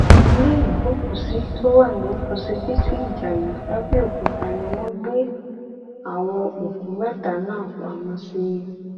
ilé ìgbókùúsí tó wà nínú ọsibítù ìjayé làbẹọkúta ni wọn gbé àwọn òkú mẹta náà pamọ sí